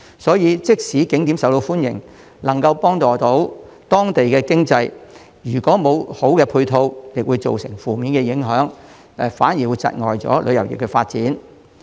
所以，即使景點受歡迎、能夠幫助當地經濟，如果沒有好的配套設施，亦會造成負面影響，窒礙旅遊業的發展。